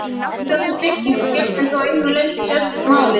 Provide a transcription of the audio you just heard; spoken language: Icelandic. Um þessa byggingu gegnir þó að einu leyti sérstöku máli.